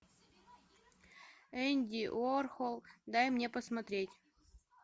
энди уорхол дай мне посмотреть